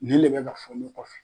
Nin le be ka fɔ n kɔfɛ